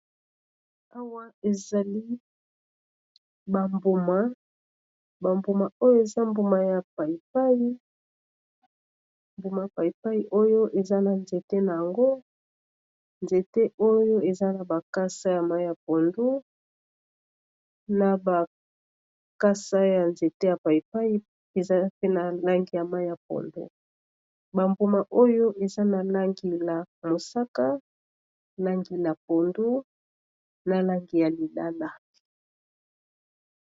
awa ezali bambuma bambuma oyo eza mbuma ya paipaimbuma ya pïpai oyo eza na nzete na yango nzete oyo eza na bakasa ya mai ya pondo na bakasa ya nzete ya païpai eza mpe na langi ya mai ya pondo bambuma oyo eza na langi ya mosaka nangila pondo na langi ya lidala